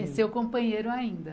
É seu companheiro ainda.